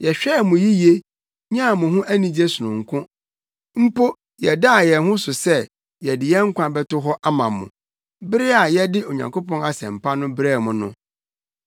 Yɛhwɛɛ mo yiye, nyaa mo ho anigye sononko; mpo yɛdaa yɛn ho so sɛ yɛde yɛn nkwa bɛto hɔ ama mo, bere a yɛde Onyankopɔn Asɛmpa no brɛɛ mo no.